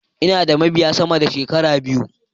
Ina da mabiya sama da sh abiyu.